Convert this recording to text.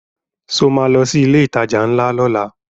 Ṣo ma lọ sí ilé ìtajà ńlá lọ́la?